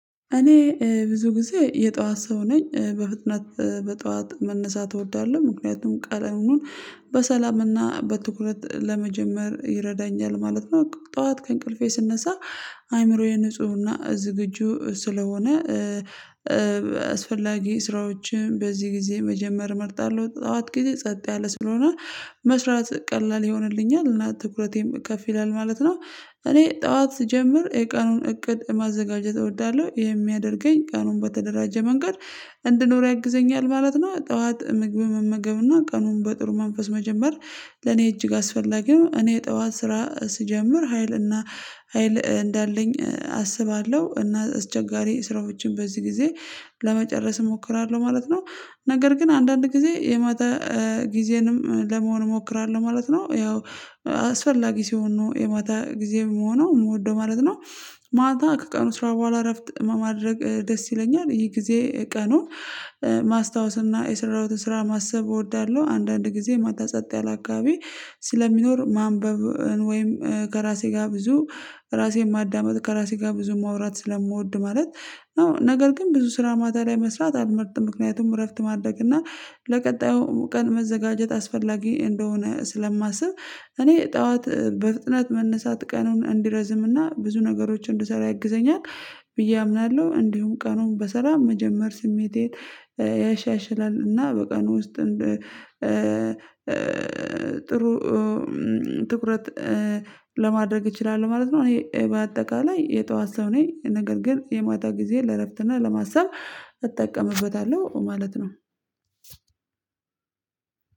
እኔ ብዙ ጊዜ የጠዋት ሰው ነኝ በፍጥነት በጠዋት መነሳት እወዳለሁ ምክንያቱም ቀለሉን በሰላምና በትኩረት ለመጀመር ይረዳኛል ማለት ነው። ጠዋት ከእንቅልፌ ስነሳ አእምሮዬ ንፁህና ዝግጁ ስለሆነ አስፈላጊ ስራዎችን በዚህ ጊዜ መጀመር እመርጣለሁ። ጠዋት ጊዜ ጸጥ ያለ ስለሆነ መስራት ቀላል ይሆንልኛል እና ትኩረቴም ከፍ ይላል ማለት ነው። እኔ ጠዋት ስጀምር የቀኑን እቅድ ማዘጋጀት እወዳለሁ ይህ የሚያደርገኝ ቀኑን በተደራጀ መንገድ እንድኖር ያግዘኛል ማለት ነው። ጠዋት ምግብ መመገብና ቀኑን በጥሩ መንፈስ መጀመር ለኔ እጅግ አስፈላጊ ነው። እኔ ጠዋት ስራ ስጀምር ሀይልና ሀይል እንዳለኝ አስባለሁ እና እስቸጋሪ ስራዎችን በዚህ ጊዜ ለመጨረስ እሞክራለሁ ማለት ነው። ነገር ግን አንዳንድ ጊዜ የማታ ጊዜንም ለመሆን እሞክራለሁ ማለት ነው ያው አስፈላጊ ሲሆን ነው የማታ ጊዜ የምሆነው እምወደው ማለት ነው። ማታ ከቀኑ ስራ በኋላ እረፍት ማድረግ ደስ ይለኛል ይሄ ጊዜ ቀኑን ማስታወስ እና የሰራሁትን ስራ ማሰብ እወዳለሁ። አንዳንድ ጊዜ ማታ ጸጥ ያለ አካባቢ ስለሚኖር ማንበብን ወይም ከራሴ ጋር ብዙ ራሴን ማዳመጥ ከራሴ ጋር ብዙ ማውራት ስለምወድ ማለት ነው። ነገር ግን ብዙ ስራ ማታ ላይ መስራት አልመርጥም ምክንያቱም እረፍት ማድረግ እና ለቀጣዩ ቀን መዘጋጀት አስፈላጊ እንደሆነ ስለማስብ። እኔ ጠዋት በፍጥነት መነሳት ቀኑን እንዲረዝም እና ብዙ ነገሮችን እንድሰራ ያግዘኛል ብዬ አምናለሁ። እንዲሁም ቀኑን በሰላም መጀመር ስሜቴን ያሻሽላል እና በቀኑ ውስጥ ጥሩ ትኩረት ለማድረግ እችላለሁ ማለት ነው። እኔ በአጠቃላይ የጠዋት ሰው ነኝ። ነገር ግን የማታ ጊዜ ለእረፍትና ለማሰብ እጠቀምበታለሁ ማለት ነው።